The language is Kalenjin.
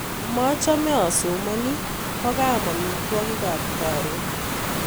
machome asomani kokoam amitwokikab karon